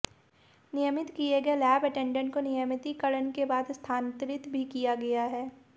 नियमित किए गए लैब अटेडेंट को नियमतिकरण के बाद स्थानांतरित भी किया गया है